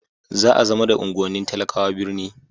za a zama da unguwannin talakawa birni